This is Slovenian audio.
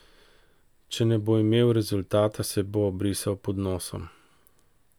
Če ne bo imel rezultata, se bo obrisal pod nosom.